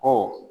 Ɔ